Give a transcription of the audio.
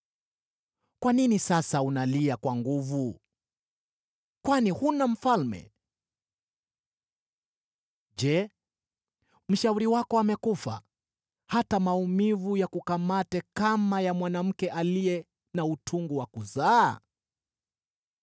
Kwa nini sasa unalia kwa nguvu: kwani huna mfalme? Je, mshauri wako amekufa, hata maumivu yakukamate kama ya mwanamke aliye na utungu wa kuzaa?